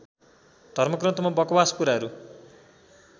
धर्मग्रन्थमा बकवास कुराहरू